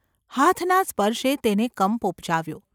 હાથના સ્પર્શે તેને કંપ ઉપજાવ્યો.